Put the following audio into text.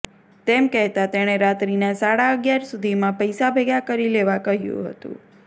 તેમ કહેતાં તેણે રાત્રીના સાડા અગિયાર સુધીમાં પૈસા ભેગા કરી લેવા કહ્યું હતું